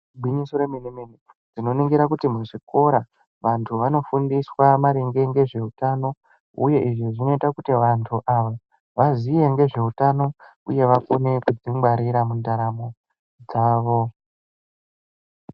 Igwinyiso remene-mene tinoningira kuti muzvikora vantu vanofundiswa maringe nezveutano uye izvi zvinoita kuti vantu ava vaziye ngezveutano uye vagone kudzingwarira mundaramo dzavo.